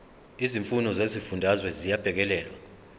izimfuno zezifundazwe ziyabhekelelwa